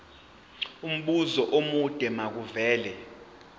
umbuzo omude makuvele